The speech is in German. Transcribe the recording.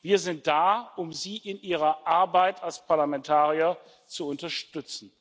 Wir sind da, um Sie in Ihrer Arbeit als Parlamentarier zu unterstützen.